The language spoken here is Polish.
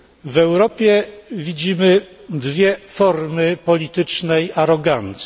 W Europie widzimy dwie formy politycznej arogancji.